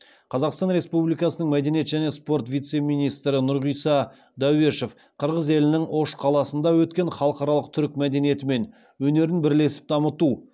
қазақстан республикасының мәдениет және спорт вице министрі нұрғиса дәуешов қырғыз елінің ош қаласында өткен халықаралық түркі мәдениеті мен өнерін бірлесіп дамыту